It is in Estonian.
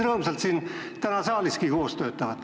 Tundute täna siin saaliski päris rõõmsalt koos töötavat.